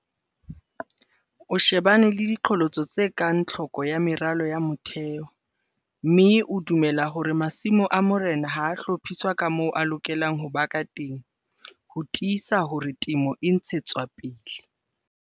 O shebane le diqholotso tse kang tlhoko ya meralo ya motheho, mme o dumela hore masimo a morena ha a hlophiswa ka moo a lokelang ho ba ka teng - ho tiisa hore temo e ntshetswa pele.